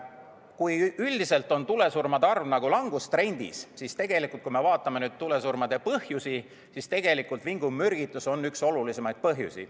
Kui üldiselt on tulesurmade arv langustrendis, siis tegelikult, kui me vaatame tulesurmade põhjusi, siis vingumürgitus on üks olulisemaid põhjusi.